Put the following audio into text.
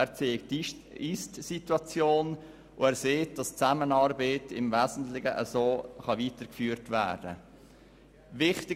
Er zeigt die IstSituation und sagt, dass die Zusammenarbeit im Wesentlichen so weitergeführt werden kann wie bisher.